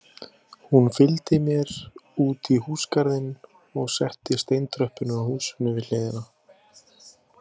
Fylgdi hún mér útí húsagarðinn og upp steintröppurnar á húsinu við hliðina.